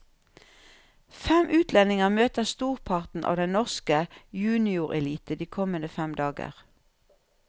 Fem utlendinger møter storparten av den norske juniorelite de kommende fem dager.